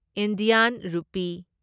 Indian rupee